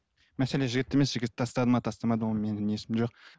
мәселе жігітте емес жігіт тастады ма тастамады ма ол менің жоқ